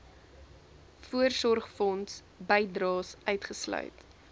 voorsorgfonds bydraes uitgesluit